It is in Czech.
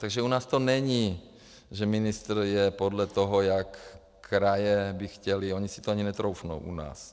Takže u nás to není, že ministr je podle toho, jak kraje by chtěly, oni si to ani netroufnou u nás.